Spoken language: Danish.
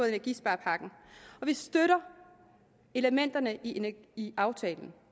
energisparepakken og vi støtter elementerne i i aftalen